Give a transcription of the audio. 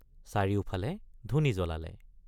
চাৰিওফালে ধুনি জ্বলালে।